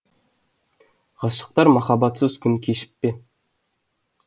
ғашықтар махаббатсыз күн кешіп пе